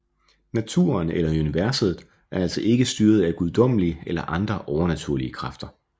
Naturen eller universet er altså ikke styret af guddommelige eller andre overnaturlige kræfter